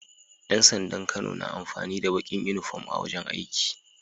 Yan sandan Kano na amfani da Bakin inufom a wajan aiki